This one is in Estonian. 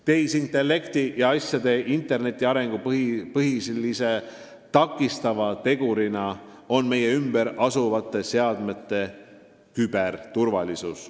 Tehisintellekti ja asjade interneti arengu põhilisi takistavaid tegureid on meie ümber asuvate seadmete küberturvalisus.